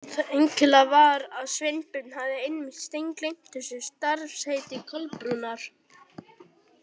Það einkennilega var að Sveinbjörn hafði einmitt steingleymt þessu starfsheiti Kolbrúnar.